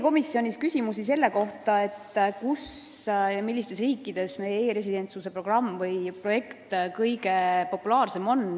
Komisjonis küsiti, mis riikides meie e-residentsuse programm kõige populaarsem on.